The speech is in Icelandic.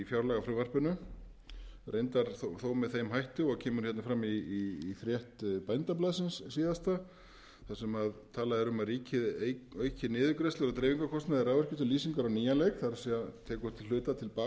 fjárlagafrumvarpinu reyndar þó með þeim hætti og kemur fram í frétt bændablaðsins síðasta þar sem talað er um að ríkið auki niðurgreiðslur á dreifingarkostnaði raforku til lýsingar á nýjan leik það er tekur að hluta til